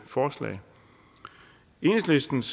forslag enhedslistens